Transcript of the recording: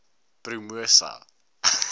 promosa